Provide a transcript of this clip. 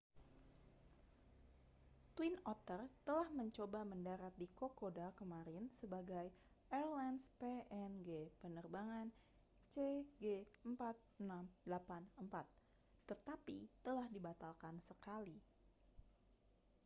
twin otter telah mencoba mendarat di kokoda kemarin sebagai airlines png penerbangan cg4684 tetapi telah dibatalkan sekali